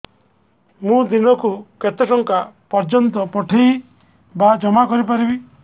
ମୁ ଦିନକୁ କେତେ ଟଙ୍କା ପର୍ଯ୍ୟନ୍ତ ପଠେଇ ବା ଜମା କରି ପାରିବି